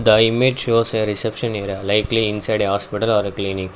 the image shows a reception area likely inside a hospital or a clinic.